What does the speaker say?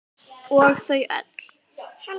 Og þau öll.